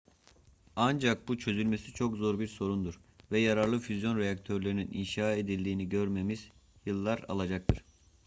ancak bu çözülmesi çok zor bir sorundur ve yararlı füzyon reaktörlerinin inşa edildiğini görmemiz yıllar alacaktır